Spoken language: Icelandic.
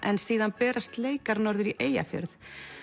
en síðan berast leikar norður í Eyjafjörð